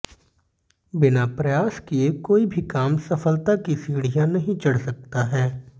बिना प्रयास किये कोई भी काम सफलता की सीढ़ियां नहीं चढ़ सकता है